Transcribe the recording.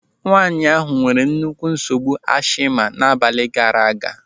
Nwaanyị ahụ nwere nnukwu nsogbu ashima n'abalị gaara aga.